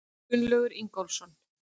Gunnlaugur Ingólfsson.